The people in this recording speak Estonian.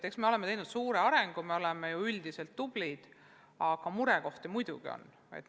Eks me oleme teinud suure arengu, me oleme ju üldiselt tublid, aga murekohti muidugi on.